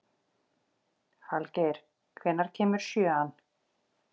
Falgeir, hvenær kemur sjöan?